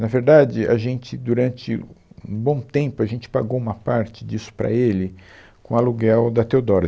Na verdade, a gente, durante um bom tempo, a gente pagou uma parte disso para ele com o aluguel da Teodoro.